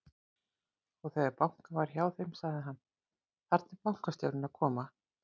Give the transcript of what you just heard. Og þegar bankað var hjá þeim, sagði hann: Þarna er bankastjórinn að koma.